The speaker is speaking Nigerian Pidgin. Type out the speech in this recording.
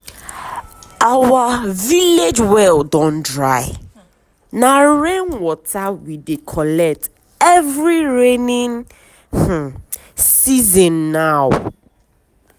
our village well don dry na rain water we dey collect every rainy um season now.